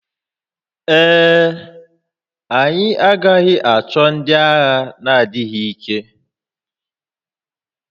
Ee e, anyị agaghị achọ ndị agha na-adịghị ike